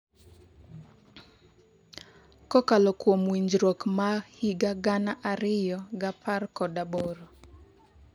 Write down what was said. kokalo kuom winjruok ma higa gana ariyo gi apr kod aboro